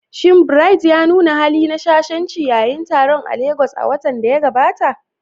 Shin Bright ya nuna hali na shashanci yayin taron a Legas a watan da ya gabata?